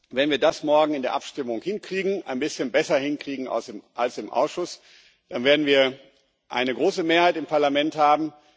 wenn wir das morgen in der Abstimmung ein bisschen besser hinkriegen als im Ausschuss, dann werden wir eine große Mehrheit im Parlament haben.